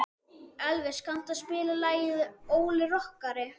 Elvis, kanntu að spila lagið „Óli rokkari“?